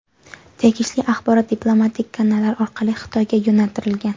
Tegishli axborot diplomatik kanallar orqali Xitoyga yo‘naltirilgan.